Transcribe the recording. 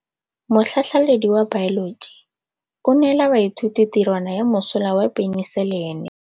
Motlhatlhaledi wa baeloji o neela baithuti tirwana ya mosola wa peniselene.